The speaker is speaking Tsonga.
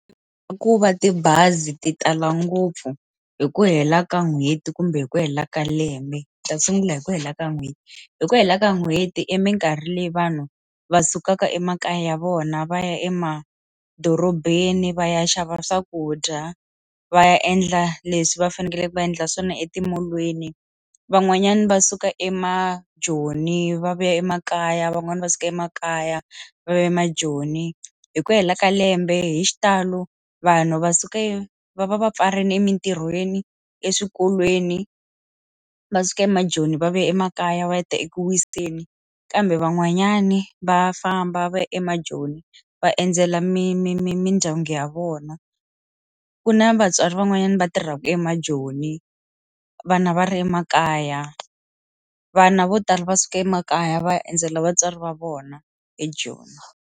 Ku va tibazi ti tala ngopfu hi ku hela ka n'hweti kumbe hi ku hela ka lembe ta sungula hi ku hela ka n'hweti hi ku hela ka n'hweti eminkarhi leyi vanhu va sukaka emakaya ya vona va ya emadorobeni va ya xava swakudya va ya endla leswi va fanekele va endla swona etimolweni van'wanyana va suka emajoni va vuya emakaya van'wani va suka emakaya va ya emajoni hi ku hela ka lembe hi xitalo vanhu va suka e va va va pfarile emitirhweni, eswikolweni va suka emajoni va vuyela emakaya va ya ta eku wiseni kambe van'wanyani va famba va ya emajoni va endzela mi mi mi mindyangu ya vona ku na vatswari van'wanyana va tirhaka emajoni vana va ri emakaya vana vo tala va suka emakaya va ya endzela vatswari va vona hi ejoni.